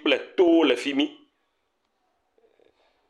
kple to le fi mi.